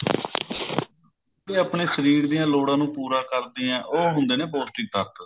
ਇਹ ਆਪਨੇ ਸ਼ਰੀਰ ਦੀਆਂ ਲੋੜਾਂ ਨੂੰ ਪੁਰੀਆਂ ਕਰਦਿਆਂ ਨੇ ਉਹ ਹੁੰਦੇ ਨੇ ਪੋਸਟਿਕ ਤੱਤ